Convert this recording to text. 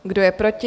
Kdo je proti?